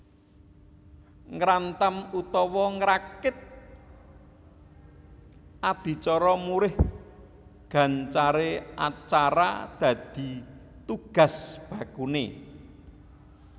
Ngrantam utawa ngrakit adicara murih gancaré acara dadi tugas bakuné